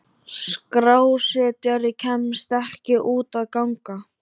Skrásetjari kemst ekki út að ganga.